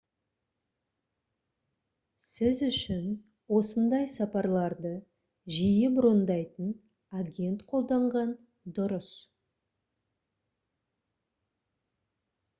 сіз үшін осындай сапарларды жиі брондайтын агент қолданған дұрыс